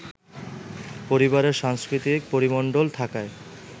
পরিবারে সাংস্কৃতিক পরিমন্ডল থাকায়